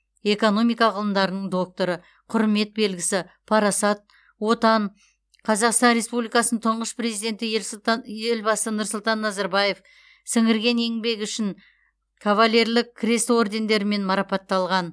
экономика ғылымдарының докторы құрмет белгісі парасат отан қазақстан республикасының тұңғыш президенті елсұлта елбасы нұрсұлтан назарбаев сіңірген еңбегі үшін кавалерлік крест ордендерімен марапатталған